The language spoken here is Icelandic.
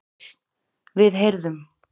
PÁLL: Við heyrðum.